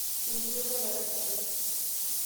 enkitok olalashe lai